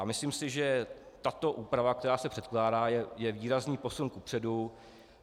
A myslím si, že tato úprava, která se předkládá, je výrazný posun kupředu.